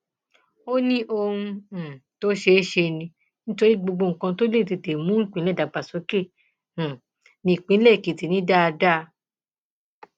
ó ní ohun um tó ṣeé ṣe ni nítorí gbogbo nǹkan tó lè tètè mú ìpínlẹ dàgbàsókè um nípínlẹ èkìtì ni dáadáa